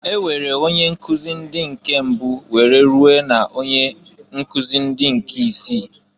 E nwere onye nkuzị ndị nke mbụ were rue na onyenkuzi nke ndị isii.